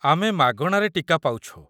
ଆମେ ମାଗଣାରେ ଟୀକା ପାଉଛୁ।